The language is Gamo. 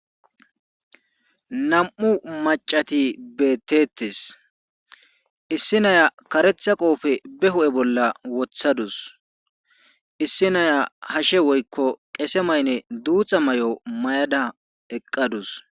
Nam7u maccati beetteetes issi naya karetha qoofe be huu7e bolla wothadus issi naya hashe woykko qese mayne duuxa mayo mayada eqqadus.